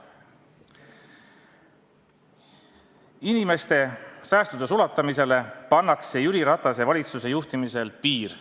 Inimeste säästude sulatamisele pannakse Jüri Ratase valitsuse juhtimisel piir.